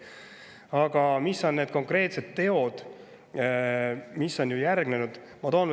Aga mis on need konkreetsed teod, mis on järgnenud?